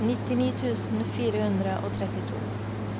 nittini tusen fire hundre og trettito